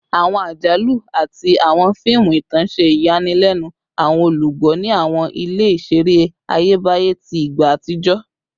Awọn ajalu ati awọn fiimu itan ṣe iyanilenu awọn olugbo ni awọn ile-iṣere Ayebaye ti igba atijọ